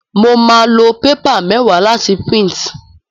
Mo máa lo paper méwáà láti print